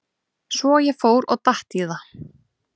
Svo ég fór og datt í það.